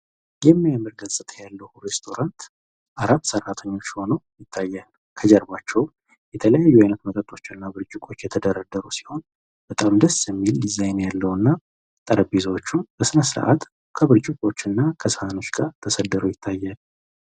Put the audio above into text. የሚያምር ገጽታ ያለው ሬስቶራንት አራት ሰራተኛ ሆነው ይታያል ከጀርባቸውም የተለያዩ መጠጦች እና ብርጭዎች የተደረደሩ ሲሆን፤ በጣም ደስ የሚል ዲዛይን ያለውና ጠረጴዛዎቹም በስነስርአት ከብርጭቆዎች እና ከሰሃኖች ጋር ተሰድረው ይታያል።